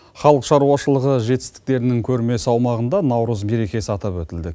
халық шаруашылығы жетістіктерінің көрмесі аумағында наурыз мерекесі атап өтілді